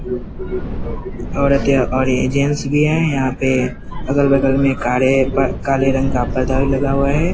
औरते और ये जेंट्स ये है यहाँ पे अगल-बगल में कारे काले रंग का पर्दा भी लगा हुआ है ।